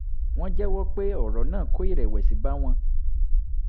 wọ́n jẹ́wọ́ pé ọ̀rọ̀ náà kó ìrẹ̀wẹ̀sì bá àwọn